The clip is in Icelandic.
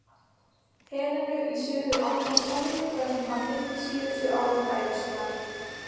Helenu í Suður-Atlantshafi þar sem hann eyddi síðustu árum ævi sinnar.